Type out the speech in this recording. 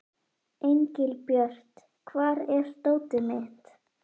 Engilbjört, hvar er dótið mitt?